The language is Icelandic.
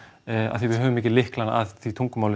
af því að við höfum ekki lyklana að því tungumáli